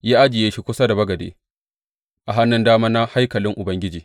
Ya ajiye shi kusa da bagade a hannun dama na haikalin Ubangiji.